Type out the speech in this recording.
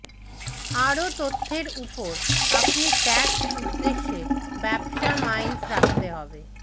আরো তথ্যের উপর আপনি ট্যাক্স উদ্দেশ্যে ব্যবসা মাইলস রাখতে হবে